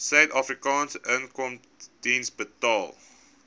suidafrikaanse inkomstediens betaal